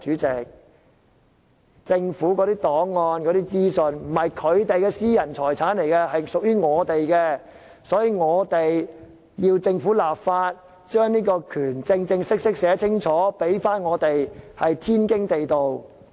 政府的檔案和資訊不是他們的私人財產，而是屬於市民大眾的，因此我們要求政府立法，正式在法例條文中訂明這項權利，這是天經地義的事。